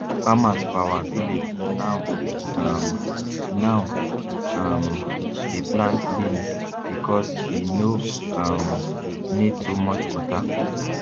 farmers for our village now um now um dey plant beans because e no um need too much water